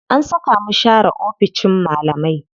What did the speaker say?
An saka mu share oficin malamai.